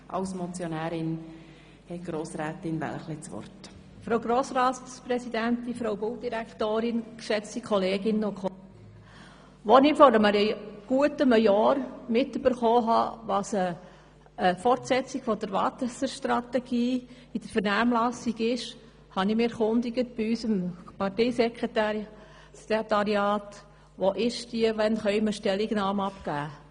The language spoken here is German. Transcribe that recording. Als ich vor gut einem Jahr erfahren habe, dass eine Fortsetzung der Wasserstrategie in der Vernehmlassung ist, habe ich mich bei unserem Parteisekretariat erkundigt, wo diese steht und wann wir Stellung nehmen können.